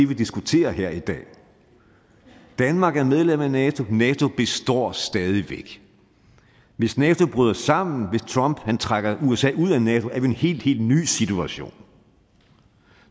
vi diskuterer her i dag danmark er medlem af nato nato består stadig væk hvis nato bryder sammen hvis trump trækker usa ud af nato er en helt helt ny situation